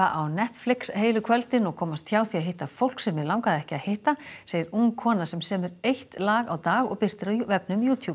á Netflix heilu kvöldin og komast hjá því að hitta fólk sem mig langaði ekki að hitta segir ung kona sem semur eitt lag á dag og birtir á vefnum